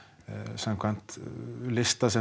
samkvæmt lista sem